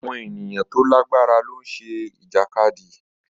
Àwọn ènìyàn tó lágbára ló ń ṣe Ìjàkadì